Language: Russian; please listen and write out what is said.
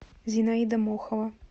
зинаида мохова